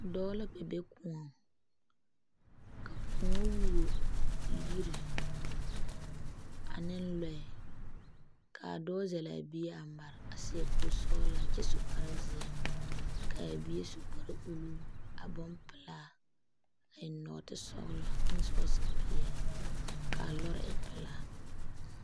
Dɔɔ la kpɛ be kôɔŋ ka kóɔ who yiri ane lɔɛ kaa dɔɔ zelle a bie a mare a seɛ kuri sɔgelaa kyɛ su kpare zeɛ kaa bie su kparre uluu a bompelaa a eŋ nɔɔte sɔgelɔ ane sɔɔse peɛle kaa lɔɛ e pelaa